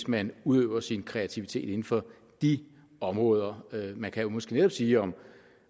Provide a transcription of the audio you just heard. man udøver sin kreativitet inden for de områder man kan jo måske netop sige om